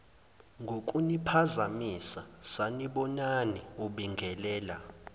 ngokuniphazamisa sanibonani ubingelela